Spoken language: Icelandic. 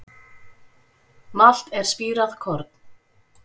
Malt er spírað korn.